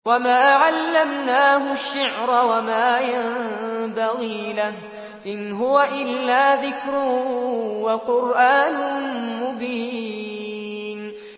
وَمَا عَلَّمْنَاهُ الشِّعْرَ وَمَا يَنبَغِي لَهُ ۚ إِنْ هُوَ إِلَّا ذِكْرٌ وَقُرْآنٌ مُّبِينٌ